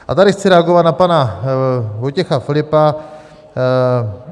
A tady chci reagovat na pana Vojtěcha Filipa.